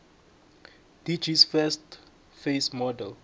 dgs first face model